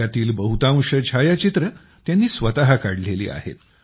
यातील बहुतांश छायचित्रे त्यांनी स्वत काढलेली आहेत